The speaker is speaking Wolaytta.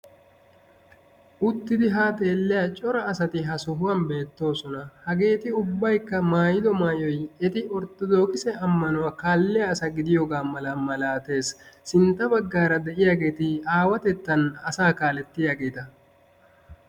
uttidi haa xeeliya cora asati ha sohuwan beetoosona. hageeti ubaykka maayido maayoyi eti issi amanuwa kaaliya asa gidiyoga besees. sinta bagaara de'iyageti awatettan asaa kaalettiyaageta.